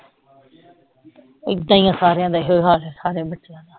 ਏਦਾਂ ਹੀ ਆਂ ਸਾਰਿਆਂ ਦਾ ਇਹੋ ਹਾਲ ਆ ਸਾਰੇ ਬੱਚਿਆਂ ਦਾ।